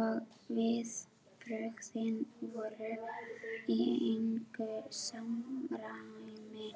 Og viðbrögðin voru í engu samræmi